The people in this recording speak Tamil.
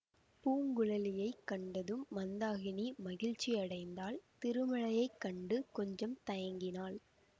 பூங்குழலியைக் கண்டதும் மந்தாகினி மகிழ்ச்சி அடைந்தாள் திருமலையைக் கண்டு கொஞ்சம் தயங்கினாள்